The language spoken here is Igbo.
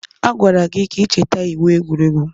A gwara gị ka ị cheta iwu egwuregwu!